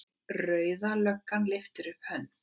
Rauða löggan lyftir upp hönd.